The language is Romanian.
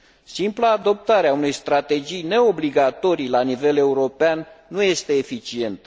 Simpla adoptare a unei strategii neobligatorii la nivel european nu este eficientă.